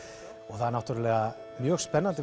það er mjög spennandi